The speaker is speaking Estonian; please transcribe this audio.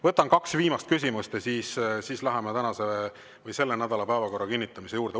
Võtan kaks viimast küsimust ja siis läheme selle nädala päevakorra kinnitamise juurde.